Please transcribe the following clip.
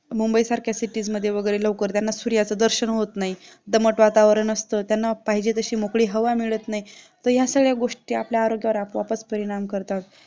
मुंबईसारख्या cities मध्ये वगैरे लवकर त्यांना सूर्याचा दर्शन होत नाही दमट वातावरण असतं त्यांना पाहिजे तशी मोकळी हवा मिळत नाही तर या सगळ्या गोष्टी आपल्या आरोग्यावर आपोआपच परिणाम करतात